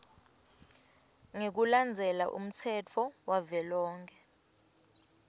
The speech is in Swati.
ngekulandzela umtsetfo wavelonkhe